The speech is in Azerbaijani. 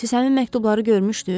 Siz həmin məktubları görmüşdüz?